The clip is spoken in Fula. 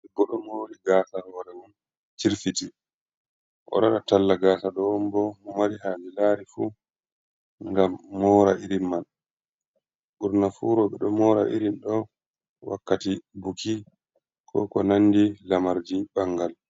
Debbo oɗo mori gasa hore mum chirfiti, oɗo waɗa talla gasa ɗo on bo mo mari haje larifu gam mora irin man, ɓurna fu rooɓe ɗo mora irin ɗo wakkati buki ko konandi lamarji ɓangal.